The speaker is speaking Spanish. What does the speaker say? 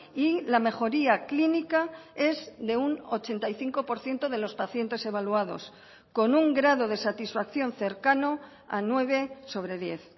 y la mejoría clínica es de un ochenta y cinco por ciento de los pacientes evaluados con un grado de satisfacción cercano a nueve sobre diez